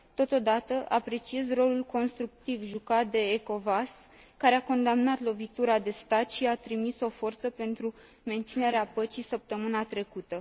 Totodată, apreciez rolul constructiv jucat de Ecowas, care a condamnat lovitura de stat și a trimis o forță pentru menținerea păcii săptămâna trecută.